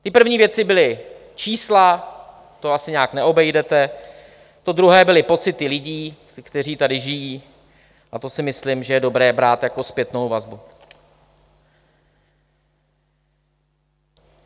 Ty první věci byla čísla, to asi nijak neobejdete, to druhé byly pocity lidí, kteří tady žijí, a to si myslím, že je dobré brát jako zpětnou vazbu.